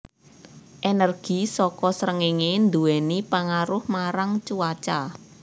Energi saka srengéngé nduwèni pangaruh marang cuaca